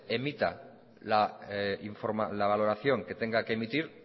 emita la valoración que tenga que emitir